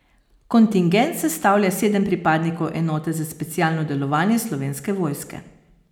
Kontingent sestavlja sedem pripadnikov enote za specialno delovanje slovenske vojske.